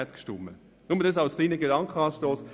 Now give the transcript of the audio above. Das ist nur ein kleiner Gedankenanstoss.